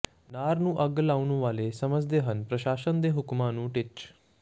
ਨਾੜ ਨੂੰ ਅੱਗ ਲਾਉਣ ਵਾਲੇ ਸਮਝਦੇ ਹਨ ਪ੍ਰਸ਼ਾਸਨ ਦੇ ਹੁਕਮਾਂ ਨੂੰ ਟਿੱਚ